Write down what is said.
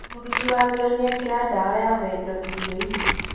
mũruti wa wĩra nĩekĩra ndawa ya wendo irioinĩ